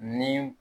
Ni